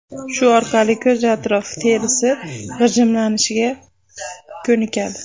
Shu orqali ko‘z atrofi terisi g‘ijimlanishga ko‘nikadi.